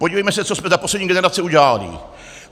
Podívejme se, co jsme za poslední generace udělali.